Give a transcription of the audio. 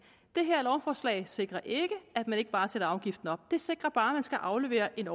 det her lovforslag sikrer ikke at man ikke bare sætter afgiften op det sikrer bare at man skal aflevere en